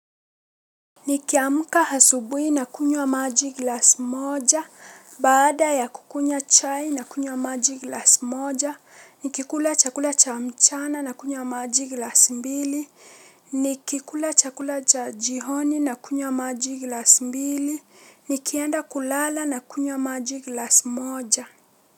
Nikiamuka hasubui na kunywa maji glas moja, bada ya kukunya chai na kunywa maji glas moja, nikikula chakula cha mchana na kunywa maji glas mbili, nikikula chakula cha jihoni na kunywa maji glas mbili, nikienda kulala na kunywa maji glas moja.